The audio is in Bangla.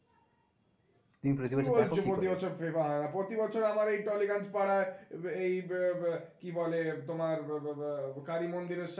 তুমি প্রতি বছর দেখো FIFA? কে বলছে প্রতি বছর FIFA হয় না। প্রতি বছর আমার এই টালিগঞ্জ পাড়ায় এই কি বলে তোমার কালী মন্দিরের